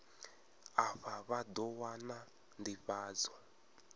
afha vha ḓo wana nḓivhadzo